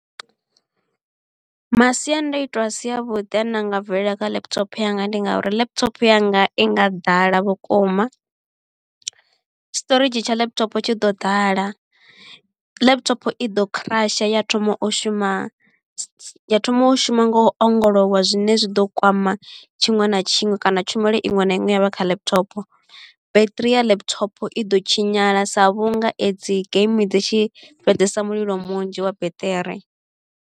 Masiandaitwa a si a vhuḓi ane a nga bvelela kha laptop yanga ndi nga uri laptop yanga i nga ḓala vhukuma storedzhi tsha laptop tshi ḓo ḓala laptop i ḓo crush ya thoma u shuma ya thoma u shuma nga u ongolowa zwine zwi ḓo kwama tshiṅwe na tshiṅwe kana tshumelo iṅwe na iṅwe ine ya vha kha laptop beṱiri ya laptop i ḓo tshinyala sa vhunga i dzi game dzi tshi fhedzesa mulilo munzhi wa battery.